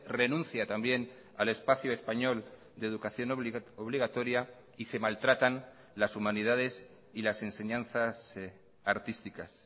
renuncia también al espacio español de educación obligatoria y se maltratan las humanidades y las enseñanzas artísticas